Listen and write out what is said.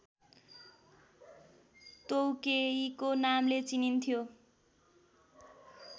तोउकेइको नामले चिनिन्थ्यो